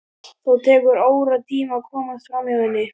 Þó tekur óratíma að komast framhjá henni.